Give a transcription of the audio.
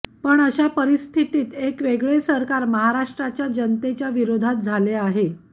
पण अशा परिस्थितीत एक वेगळे सरकार महाराष्ट्राच्या जनतेच्या विरोधात झाले आहे